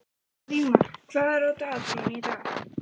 Vígmar, hvað er á dagatalinu í dag?